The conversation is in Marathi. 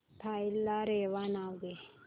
फाईल ला रेवा नाव दे